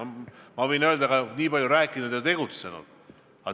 Ma võin öelda: ükski valitsus pole sellest nii palju rääkinud ja ka tegutsenud.